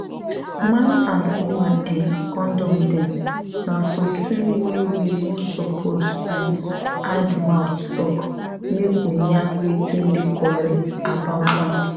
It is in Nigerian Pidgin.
man and woman[um]condom dem na something wey we no suppose um hide mouth talk make we yarn wetin dey correct about am